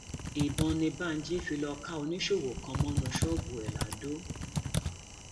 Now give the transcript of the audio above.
ìbọn ni banji lọọ fi ka oníṣòwò kan mọnú ṣọọbù ẹ ladọ